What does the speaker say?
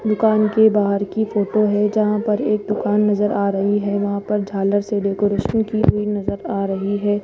दुकान के बाहर की फोटो है जहां पर एक दुकान नजर आ रही है वहां पर झालर से डेकोरेशन की हुई नजर आ रही है।